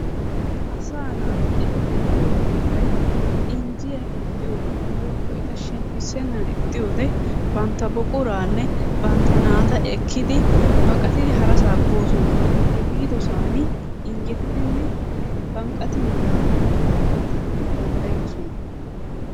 Asaa naati eti de'iyo heeray injjiya iixxiyoode woykko eta shemppissennan ixxiyoode bantta buquranne bantta naata ekkidi baqattidi harassa boosona. He biidosan injjettidinne banqqatin daanaw go"ettanaw danddayoosona.